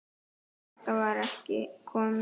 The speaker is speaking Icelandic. Kata var ekki komin.